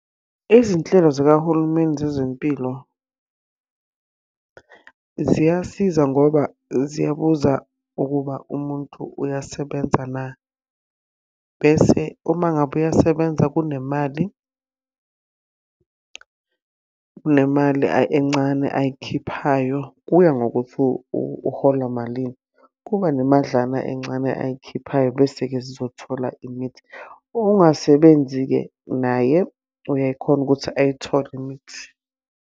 Izinhlelo zikahulumeni zezempilo, ziyasiza ngoba ziyabuza ukuthi umuntu uyasebenza na. Bese uma ngabe uyasebenza kunemali, kunemali encane ayikhiphayo, kuya ngokuthi uhola malini. Kuba nemadlana encane ayikhiphayo bese-ke zizothola . Ongasebenzi-ke naye uyakhona ukuthi ayithole imithi